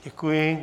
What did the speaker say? Děkuji.